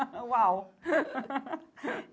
Uau!